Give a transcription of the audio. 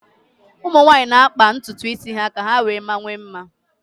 ụmụ nwanyị na-akpa ntutu isi ka ha wee mawanye mma